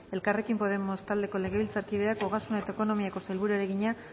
elkarrekin podemos taldeko legebiltzakideak ogasun eta ekonomiako sailburuari egina